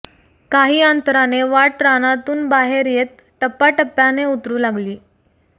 काही अंतराने वाट रानातून बाहेर येत टप्पा टप्प्याने उतरू लागली